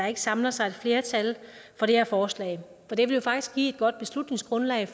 ikke samler sig et flertal for det her forslag for det ville faktisk give et godt beslutningsgrundlag i